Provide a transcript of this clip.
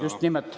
Just nimelt.